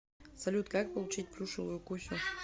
салют как получить плюшевую кусю